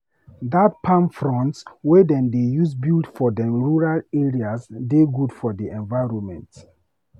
Dat palm fronds wey dem dey use build for dem rural area dey good for di environment